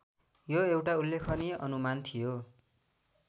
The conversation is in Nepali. यो एउटा उल्लेखनीय अनुमान थियो